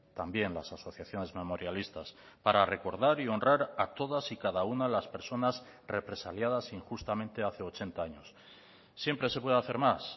también las asociaciones memorialistas para recordar y honrar a todas y cada una de las personas represaliadas injustamente hace ochenta años siempre se puede hacer más